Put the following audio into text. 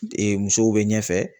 Ee musow be ɲɛfɛ